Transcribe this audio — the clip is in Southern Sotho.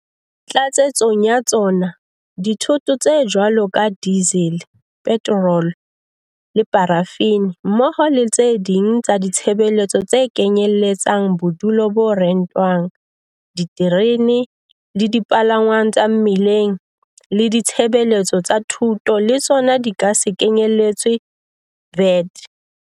Tlatsetsong ya tsona, dithoto tse jwalo ka dizele, petorolo le parafini, mmoho le tse ding tsa ditshebeletso tse kenyelletsang bodulo bo rentwang, diterene le dipalangwang tsa mmileng le ditshebeletso tsa thuto le tsona di ka se kenyeletswe VAT.